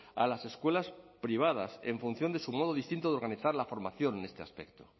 a las escuelas privadas en función de su modo distinto de organizar la formación en este aspecto